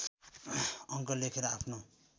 अङ्क लेखेर आफ्नो